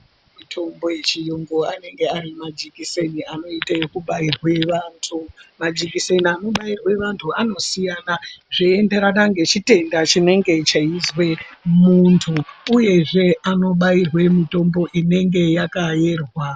Mitombo yechiyungu anenge ari majikiseni anoite yekubairwe vantu, majikiseni anobayirwe vantu anosiyana zveyienderana nechitenda chinenge cheyizwe muntu uyezve anobayirwe mutombo inenge yakayerwa.